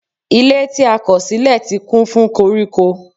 Ilé tí a kọ̀ sílẹ̀ ti kún fún koríko.